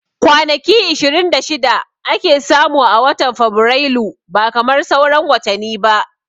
Kwanaki ishirin da shida ake samu a watan fabirailu ba kamar sauran watani ba